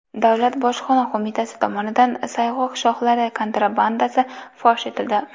Davlat bojxona qo‘mitasi tomonidan sayg‘oq shoxlari kontrabandasi fosh etildi.